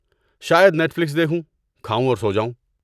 شاید Netflix دیکھوں، کھاؤں اور سو جاؤں۔